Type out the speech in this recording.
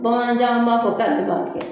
Bamananjan an m'a fɔ ka kɛ